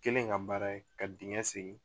Kelen ka baara ye ka dingɛ segin